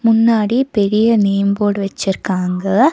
முன்னாடி பெரிய name board வச்சிருக்காங்க.